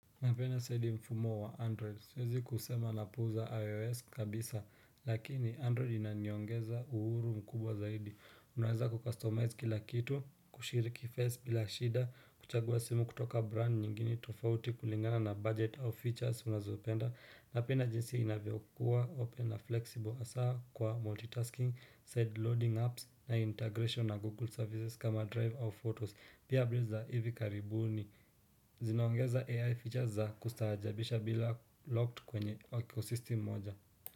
Napena saidi mfumo wa android. Siwezi kusema na puu za ios kabisa. Lakini android inanyongeza uhuru mkubwa zaidi. Unaweza kukustomize kila kitu, kushiriki face bila shida, kuchagua simu kutoka brand nyingine tofauti kulingana na budget au features unazopenda. Napenda jinsi inavyo kuwa open na flexible hasa kwa multitasking, side loading apps na integration na Google services kama drive au photos. Pia updates za hivi karibu ni zinaongeza AI features za kustaajabisha bila locked kwenye ecosystem moja.